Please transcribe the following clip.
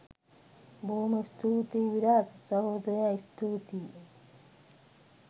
බොහොම ස්තුතියි විරාජ් සහෝදරයා ස්තුතියි